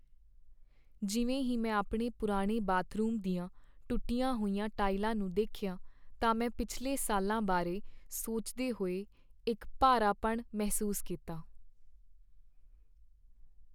ਜਿਵੇਂ ਹੀ ਮੈਂ ਆਪਣੇ ਪੁਰਾਣੇ ਬਾਥਰੂਮ ਦੀਆਂ ਟੁੱਟੀਆਂ ਹੋਈਆਂ ਟਾਈਲਾਂ ਨੂੰ ਦੇਖਿਆ, ਤਾਂ ਮੈਂ ਪਿਛਲੇ ਸਾਲਾਂ ਬਾਰੇ ਸੋਚਦੇ ਹੋਏ ਇੱਕ ਭਾਰਾਪਣ ਮਹਿਸੂਸ ਕੀਤਾ।